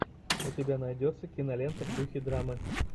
у тебя найдется кинолента в духе драмы